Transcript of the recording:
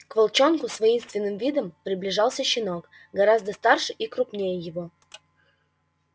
к волчонку с воинственным видом приближался щенок гораздо старше и круггнее его